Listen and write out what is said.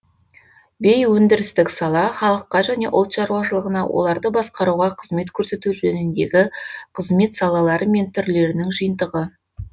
бейөндірістік сала халыққа және ұлт шаруашылығына оларды басқаруға қызмет көрсету жөніндегі қызмет салалары мен түрлерінің жиынтығы